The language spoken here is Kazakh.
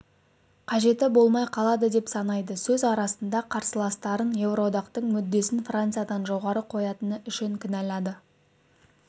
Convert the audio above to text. қажеті болмай қалды деп санайды сөз арасында қарсыластарын еуроодақтың мүддесін франциядан жоғары қоятыны үшін кінәлады